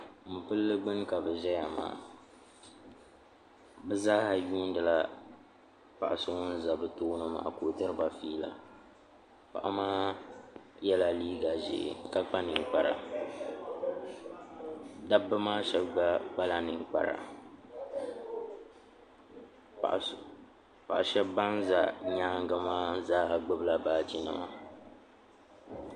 Mopilli gbuni ka bi ʒeya maa bɛ zaa yuuni la paɣaso ŋun za bɛ tooni maa ka o diriba fiila paɣa maa yela liiga ʒee ka kpa ninkpara dabba maa shɛb gba kpala ninkpara paɣa shɛb ban za nyaangi maa zaa ha gbubila baaginima.